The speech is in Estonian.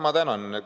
Ma tänan!